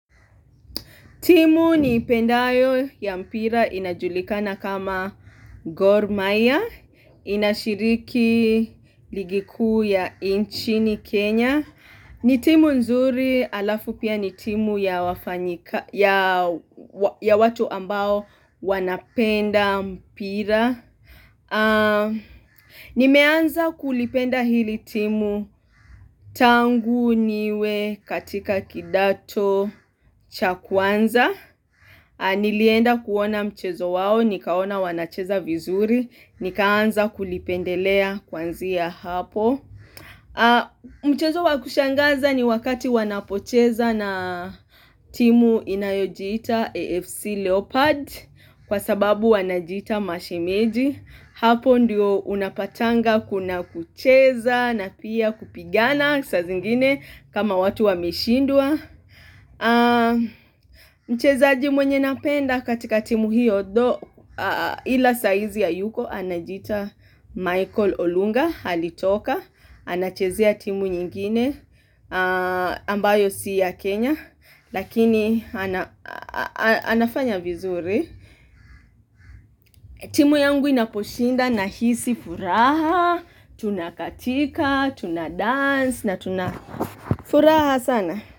Timu ni ipendayo ya mpira inajulikana kama Gor mahia, inashiriki ligikuu ya inchni Kenya. Ni timu nzuri, halafu pia ni timu ya watu ambao wanapenda mpira. Nimeanza kulipenda hili timu tangu niwe katika kidato chakwanza. Nilienda kuona mchezo wao, nikaona wanacheza vizuri, nikaanza kulipendelea kuanzia hapo Mchezo wa kushangaza ni wakati wanapocheza na timu inayojiita AFC Leopard Kwa sababu wanajiita mashemeji Hapo ndiyo unapatanga kuna kucheza na pia kupigana saa zingine kama watu wameshindwa Mchezaji mwenye nampenda katika timu hiyo Ila saizi hayuko anajiita Michael Olunga Halitoka anachezea timu nyingine ambayo siya Kenya Lakini anafanya vizuri timu yangu inaposhinda na hisi furaha Tunakatika, tunadance na tunafuraha sana.